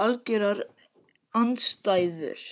algjörar andstæður.